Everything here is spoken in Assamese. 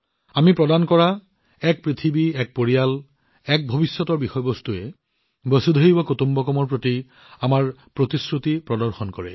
আমি প্ৰদান কৰা এক পৃথিৱী এক পৰিয়াল এক ভৱিষ্যত বিষয়টোৱে বসুধৈৱ কুটুম্বকমৰ প্ৰতি আমাৰ প্ৰতিশ্ৰুতি প্ৰদৰ্শন কৰে